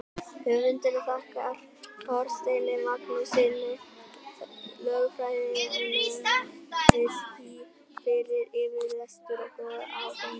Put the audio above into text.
Höfundur þakkar Þorsteini Magnússyni, lögfræðinema við HÍ, fyrir yfirlestur og góðar ábendingar.